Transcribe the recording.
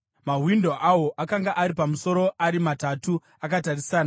Mawindo awo akanga ari pamusoro, ari matatu, akatarisana.